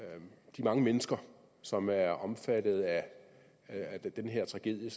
de mange mennesker som er omfattet af den her tragedie